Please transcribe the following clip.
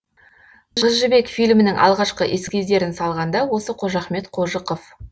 қыз жібек фильмінің алғашқы эскиздерін салған да осы қожахмет қожықов